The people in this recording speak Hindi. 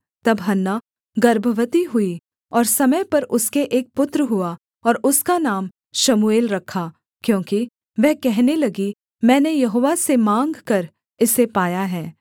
तब हन्ना गर्भवती हुई और समय पर उसके एक पुत्र हुआ और उसका नाम शमूएल रखा क्योंकि वह कहने लगी मैंने यहोवा से माँगकर इसे पाया है